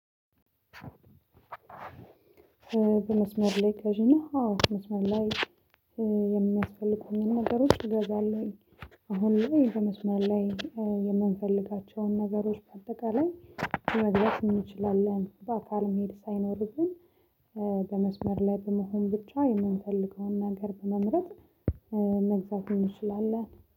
በመስመር ላይ ገዢ ነህ? አዎ በመስመር ላይ የሚያስፈልጉኝን ነገሮች እገዛለሁኝ። አሁን ላይ በመስመር ላይ የምንፈልጋቸውን ነገሮች በአጠቃላይ መግዛት እንችላለን በአካል መሄድ ሳይኖርብን። በመስመር ላይ በመሆን ብቻ የምንፈልገውን ነገር በመምረጥ መግዛት እንችላለን